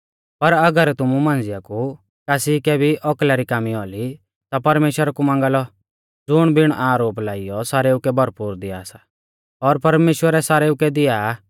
पर अगर तुमु मांझ़िया कु कासी कै भी औकला री कामी औली ता परमेश्‍वरा कु मांगा लौ ज़ुण बिण आरोप लाइयौ सारेऊ कै भरपूर दिया सा और परमेश्‍वरै सारेऊ कै दिया आ